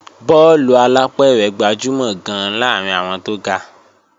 Bọ́ọ̀lù alápẹ̀rẹ̀ gbajúmọ̀ gan-an láàrín àwọn tó ga